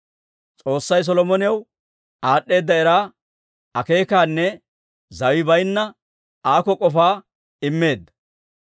S'oossay Solomonaw aad'd'eeda era, akeekaanne zaway baynna aako k'ofaa immeedda.